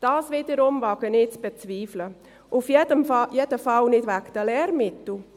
Dies wiederum wage ich zu bezweifeln, auf jeden Fall nicht wegen der Lehrmittel.